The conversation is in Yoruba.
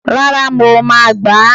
rara, mọ ma gbá